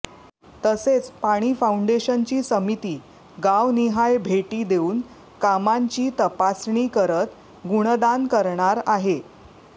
तसेच पाणी फाऊंडेशनची समिती गावनिहाय भेटी देऊन कामांची तपासणी करत गुणदान करणार आहे